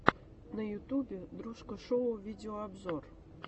на ютубе дружко шоу видеообзор